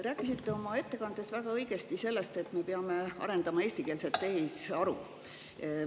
Rääkisite oma ettekandes väga õigesti sellest, et me peame arendama eestikeelset tehisaru.